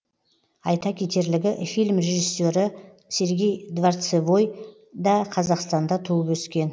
айта кетерлігі фильм режиссері сергей дворцевой да қазақстанда туып өскен